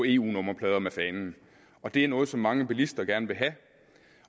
eu nummerplader med fanen og det er noget som mange bilister gerne vil have